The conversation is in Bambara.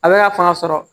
A bɛ ka fanga sɔrɔ